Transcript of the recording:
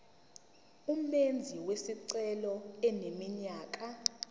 umenzi wesicelo eneminyaka